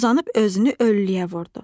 Uzanıb özünü öllüyə vurdu.